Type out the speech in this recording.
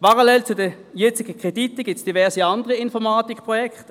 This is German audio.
Parallel zu den jetzigen Krediten gibt es diverse andere Informatikprojekte: